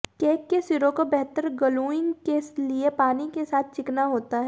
cake के सिरों को बेहतर ग्लूइंग के लिए पानी के साथ चिकना होता है